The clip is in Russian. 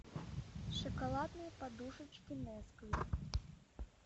шоколадные подушечки несквик